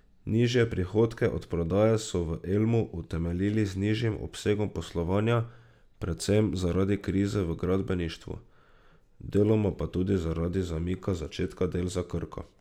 Nižje prihodke od prodaje so v Elmu utemeljili z nižjim obsegom poslovanja, predvsem zaradi krize v gradbeništvu, deloma pa zaradi zamika začetka del za Krko.